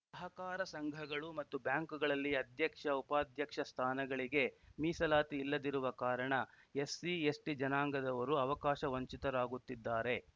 ಸಹಕಾರ ಸಂಘಗಳು ಮತ್ತು ಬ್ಯಾಂಕ್‌ಗಳಲ್ಲಿ ಅಧ್ಯಕ್ಷ ಉಪಾಧ್ಯಕ್ಷ ಸ್ಥಾನಗಳಿಗೆ ಮೀಸಲಾತಿ ಇಲ್ಲದಿರುವ ಕಾರಣ ಎಸ್‌ಸಿಎಸ್‌ಟಿ ಜನಾಂಗದವರು ಅವಕಾಶ ವಂಚಿತರಾಗುತ್ತಿದ್ದಾರೆ